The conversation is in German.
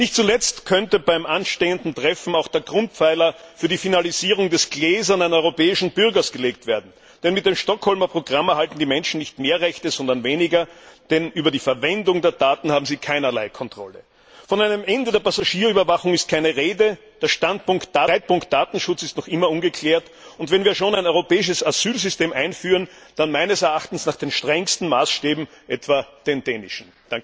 Nicht zuletzt könnte beim anstehenden Treffen auch der Grundpfeiler für die Finalisierung des gläsernen europäischen Bürgers gelegt werden. Denn mit dem Stockholmer Programm erhalten die Menschen nicht mehr Rechte, sondern weniger, denn über die Verwendung der Daten haben sie keinerlei Kontrolle. Von einem Ende der Passagierüberwachung ist keine Rede, der Streitpunkt Datenschutz ist noch immer ungeklärt, und wenn wir schon ein europäisches Asylsystem einführen, dann meines Erachtens nach den strengsten Maßstäben, etwa den dänischen.